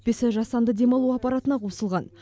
өкпесі жасанды демалу аппаратына қосылған